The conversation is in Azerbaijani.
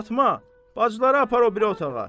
Fatma, bacıları apar o biri otağa.